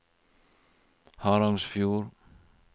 Harangsfjord